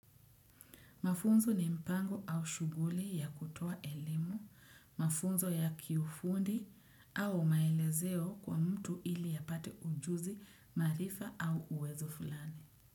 Mafunzo ni mpango au shuguli ya kutoa elimu, mafunzo ya kiufundi au maelezeo kwa mtu ili apate ujuzi marifa au uwezo fulani.